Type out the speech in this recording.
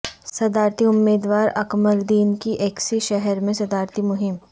صدارتی امیدوار Ekmeleddin کی ایسکی شہر میں صدارتی مہم